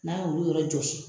N'an ye olu yɔrɔ jɔsi